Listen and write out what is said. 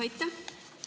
Aitäh!